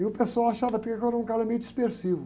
E o pessoal achava até que eu era um cara meio dispersivo.